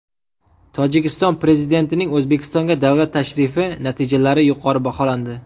Tojikiston prezidentining O‘zbekistonga davlat tashrifi natijalari yuqori baholandi.